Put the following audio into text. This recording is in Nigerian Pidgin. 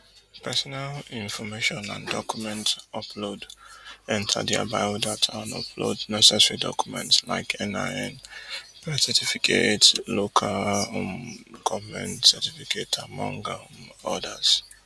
personal information and document upload enta dia biodata and upload necessary documents like NIN birth certificate local um goment certificate among um odas